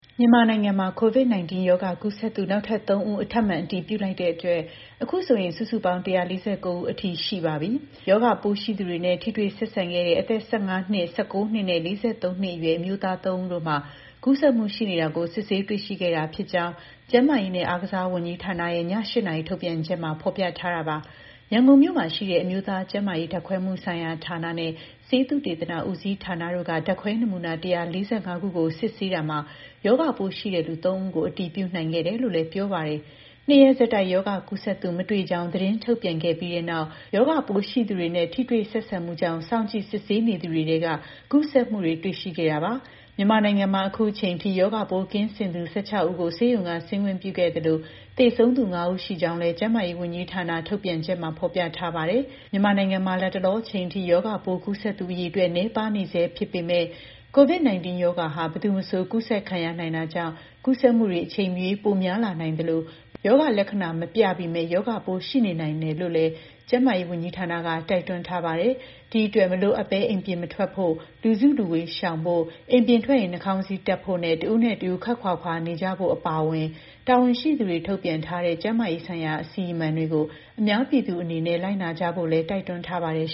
မြန်မာနိုင်ငံမှာ COVID-19 ရောဂါကူးစက်သူ နောက်ထပ် ၃ ဦးကို ထပ်မံအတည်ပြုလိုက်တဲ့အတွက် အခုဆိုရင် စုစုပေါင်း ၁၄၉ ဦးအထိ ရှိသွားပါပြီ။ ရောဂါပိုးရှိသူတွေနဲ့ ထိတွေ့ဆက်ဆံခဲ့တဲ့ အသက် ၁၅ နှစ်၊ ၁၉ နှစ်နဲ့ ၄၃ နှစ်အရွယ် အမျိုးသား ၃ ဦးတို့မှာ ကူးစက်မှုရှိနေတာကို စစ်ဆေးတွေ့ရှိခဲ့တာဖြစ်ကြောင်း ကျန်းမာရေးနဲ့ အားကစားဝန်ကြီးဌာနရဲ့ ည ၈ နာရီ ထုတ်ပြန်ချက်မှာ ဖော်ပြထားတာပါ။ ရန်ကုန်မြို့မှာရှိတဲ့ အမျိုးသားကျန်းမာရေး ဓာတ်ခွဲမှုဆိုင်ရာဌာနနဲ့ ဆေးသုတေသနဦးစီးဌာနတို့က ဓာတ်ခွဲနမူနာ ၁၄၅ ခုကို စစ်ဆေးရာမှာ ရောဂါပိုးရှိသူ ၃ ဦးကို အတည်ပြုနိုင်ခဲ့တာလို့လည်း ပြောပါတယ်။ ၂ ရက်ဆက်တိုက် ရောဂါကူးစက်သူ မတွေ့ကြောင်း သတင်းထုတ်ပြန်ခဲ့ပြီးနောက် ရောဂါပိုးရှိသူတွေနဲ့ ထိတွေ့ဆက်ဆံမှုကြောင့် စောင့်ကြည့်စစ်ဆေးနေသူတွေထဲက ကူးစက်မှုတွေ တွေ့ရှိခဲ့တာပါ။ မြန်မာနိုင်ငံမှာ အခုအချိန်အထိ ရောဂါပိုး ကင်းစင်သူ ၁၆ ဦးကို ဆေးရုံက ဆင်းခွင့်ပြုခဲ့သလို၊ သေဆုံးသူ ၅ ဦး ရှိကြောင်းလည်း ကျန်းမာရေးဝန်ကြီးဌာနရဲ့ ထုတ်ပြန်ချက်မှာ ဖော်ပြထားပါတယ်။ မြန်မာနိုင်ငံမှာ လတ်တလော အချိန်အထိ ရောဂါပိုးကူးစက်သူ အရေအတွက် နည်းပါးနေဆဲ ဖြစ်ပေမဲ့ COVID-19 ရောဂါဟာ ဘယ်သူမဆို ကူးစက်ခံရနိုင်တာကြောင့် ကူးစက်မှုတွေ အချိန်မရွေးပိုများလာနိုင်သလို ရောဂါလက္ခဏာမပြပေမဲ့ ရောဂါပိုးရှိနေနိုင်တယ်လို့လည်း ကျန်းမာရေးဝန်ကြီးဌာနက တိုက်တွန်းထားတာပါ။ ဒီအတွက် မလိုအပ်ဘဲ အိမ်ပြင်မထွက်ဖို့၊ လူစုလူဝေးရှောင်ဖို့၊ အိမ်ပြင်ထွက်ရင် နှာခေါင်းစည်းတပ်ဖို့နဲ့ တစ်ဦးနဲ့တစ်ဦး ခွပ်ခွာခွာနေကြဖို့ အပါအဝင် တာဝန်ရှိသူတွေ ထုတ်ပြန်ထားတဲ့ ကျန်းမာရေးဆိုင်ရာ အစီအမံတွေကို အများပြည်သူ အနေနဲ့ လိုက်နာကြဖို့လည်း တိုက်တွန်းထားပါတယ်